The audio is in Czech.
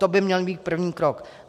To by měl být první krok.